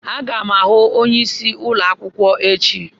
Aga m ahụ onyeisi ụlọ akwụkwọ echi.